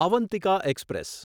Avantika express